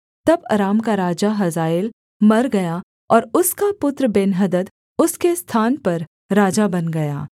तब अराम का राजा हजाएल मर गया और उसका पुत्र बेन्हदद उसके स्थान पर राजा बन गया